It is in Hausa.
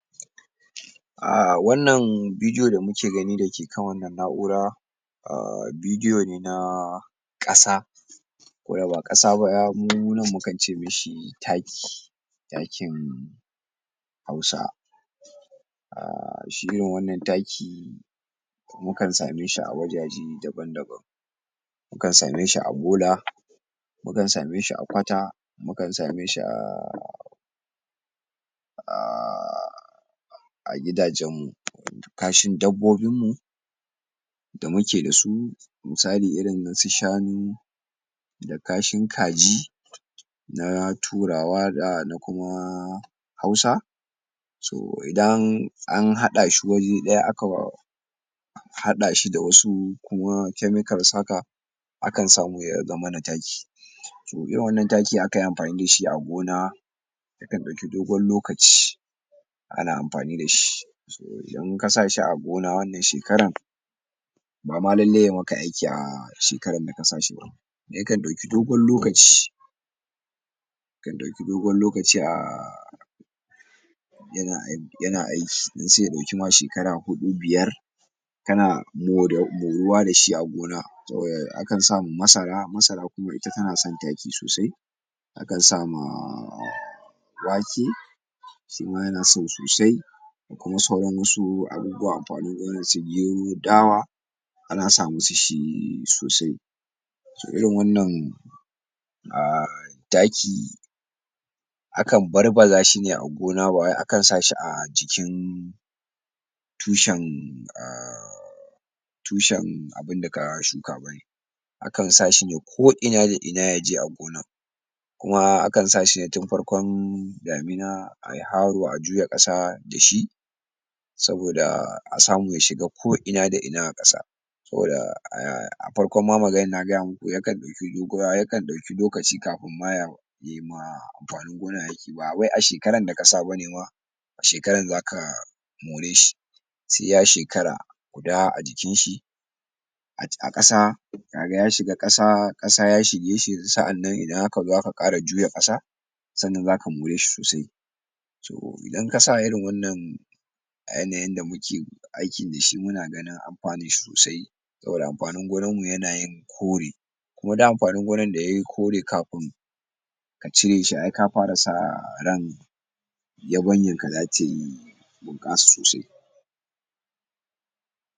um wannan bidiyo da kuke gani da ke kan wannan naʼura um bidiyo ne nah ƙasa, ko ba ƙasa ba mu nan mu kan ce mishi taki. Takin Hausa, um shi irin wannan taki mu kan same shi a wajaje daban-daban mukan same shi a bola, mukan same shi a kwata, mukan same shi um a gidajen kashin dabbobin mu da mu ke da su. Misali irin su shanu, da kashin kaji na turawa da na kuma Hausa so idan an haɗa shi waje ɗaya aka sa musu chemical haka mukan samu ya zama na taki. Taki akan yi amfani da shi a gona yakan ɗauki dogon lokaci ana amfani da shi .So Inda ka sa shi a gona wannan shekaran ba ma lallai ya yi maka aiki a wannan shekaran ba, ya kan ɗauki dogon lokaci ya kan ɗauki dogon lokaci um yana aiki sai ya ɗauki ma shekaru hudu biyar ana moruwa da shi a gona. A kan sa ma masara, masara na son taki sosai akan sama wake shi ma yana so sosai da sauran wassu abubuwan irin su dawa ana sa musu shi sosai. so Irin wannan um taki a kan barbaza shi ne a gona ba wai akan sa shi a cikin tushen tushen abinda ka shuka ba ne. Akan barbaza shi ne ko ina da ina ya ji a gonan kuma a kan sa shi ne tun farkon damina, a yi haro a juya ƙasa da shi saboda a samu ya shiga ko ina da ina a kasa saboda a farkon ma maganan na faɗa muku ya kan ɗauki dogon lokaci kafun ma yayi ma anfanin gonan aiki ba wai a shekaran da ka sa bane ma shekaran za ka more shi sai ya shekara guda a jikin shi a ƙasa ya shiga ƙasa ƙasa ya shige shi saʼannan in aka zo aka ƙara juya ƙasa sannan za ka more shi sosai, so in ka sa irin wannan ƙasan da muke taki da shi muna gane amfani sosai saboda amfanin gonanmu zai yi kore kuma duk amfanin gonan da ya yi kore kafin a cire shi ai ka fara sa ran yabanyan ka zai bunƙasa sosai.